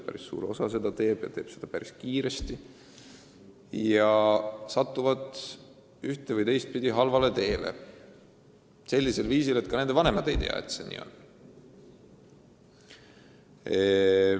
Päris suur osa seda teeb – ja teeb seda päris kiiresti – ning satub ühte- või teistpidi halvale teele, kusjuures vanemad ei pruugi teada, et see nii on.